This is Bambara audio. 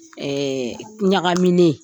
Ɛɛ ɲagagamine